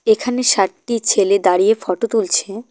এখানে সাতটি ছেলে দাঁড়িয়ে ফোটো তুলছে।